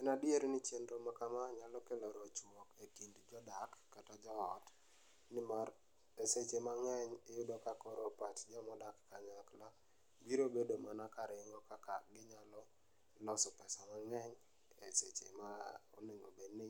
En adier ni chenro makama nyalo kelo rochkruok ekind jodak kata jo ot nimar e seche mang'eny iyudo ka koro pach joma odak kanyakla biro bedo mana ka ringo kaka ginyalo loso pesa mang'eny e seche ma onego obedni